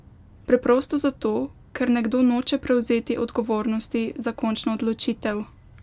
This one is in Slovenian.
Preprosto zato, ker nekdo noče prevzeti odgovornosti za končno odločitev!